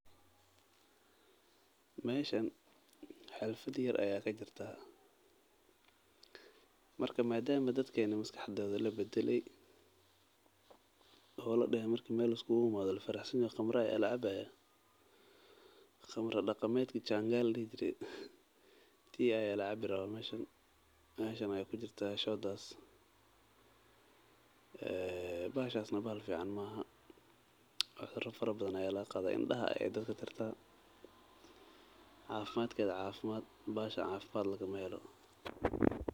Meeshan xaflad yar ayaa kajirta marka madama dadka maskaxda labadale oo ladahay qamra ayaa lacabaya tii ayaa lacabi rabaa bahshadas bahal fican maahan.